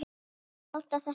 Láta á þetta reyna.